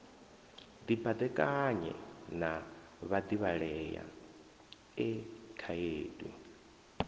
dibadekanya na vhadivhalea e khaedu